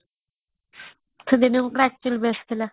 ସେ ଦିନ actually best ଥିଲା